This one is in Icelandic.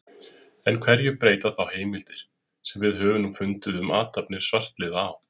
En hverju breyta þá heimildir, sem við höfum nú fundið um athafnir svartliða á